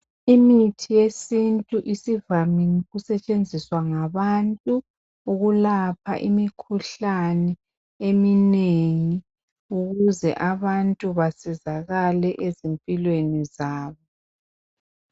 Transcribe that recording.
Imithi yesintu isivamile ukusetshenziswa ngabantu ukulapha imikhuhlane eminengi ukuze abantu basizakale ezimpilweni zabo.